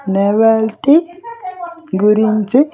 Novelty గురించి.